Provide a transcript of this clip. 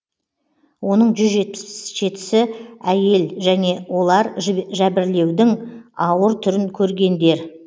оның жүз жетпіс жетісі әйел және олар жәбірлеудің ауыр түрін көргендер